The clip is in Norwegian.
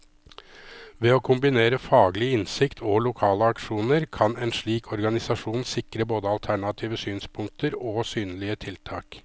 Ved å kombinere faglig innsikt og lokale aksjoner, kan en slik organisasjon sikre både alternative synspunkter og synlige tiltak.